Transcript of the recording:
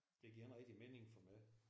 Det giver ikke rigtig mening for mig